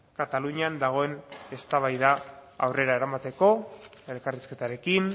katalunian dagoen eztabaida aurrera eramateko elkarrizketarekin